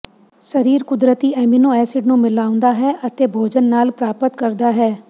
ਸਰੀਰ ਕੁਦਰਤੀ amino acid ਨੂੰ ਮਿਲਾਉਂਦਾ ਹੈ ਅਤੇ ਭੋਜਨ ਨਾਲ ਪ੍ਰਾਪਤ ਕਰਦਾ ਹੈ